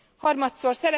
Harmadszor.